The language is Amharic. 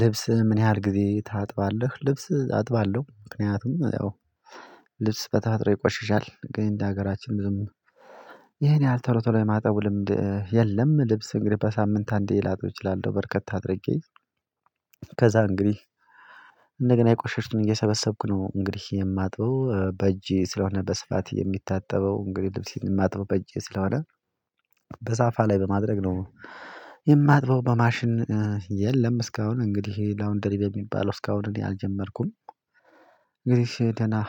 ልብስ ምን ያህል ጊዜ ታጥባለህ? ልብስ አጥባለሁ ምክንያቱም ያው ልብስ በተፈጥሮ ይቆሽሻል ግን እንደ ሀገራችን ዝም ይሄን ያህል ቶሎ ቶሎ የማጠቡ ልምድ የለም። ልብስ እንግዲህ በሳምንት አንዴ ላጥብ እችላለሁ በርከት አድርጌ ከዛ እንግዲህ እንደገና የቆሸሸዉን እየሰበሰብኩ ነው እንግዲህ የማጥበው በእጄ ስለሆነ በስፋት የሚታጠበው እንግዲህ ልብስ የማጥበው በእጄ ስለሆነ በሳፋ ላይ በማድረግ ነው የማጥበው በማሽን የለም እስካሁን እንግዲህ ላውንደሪ በሚባለው እስካሁን እኔ አልጀመርኩም፣ እንግዲህ